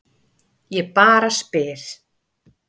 Ég bara spyr.